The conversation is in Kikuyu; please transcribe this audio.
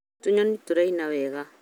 tũnyoni tũraina wega